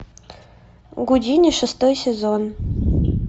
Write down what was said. гудини шестой сезон